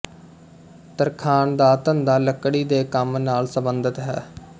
ਤਰਖਾਣ ਦਾ ਧੰਦਾ ਲਕੜੀ ਦੇ ਕੰਮ ਨਾਲ ਸੰਬੰਧਤ ਹੈ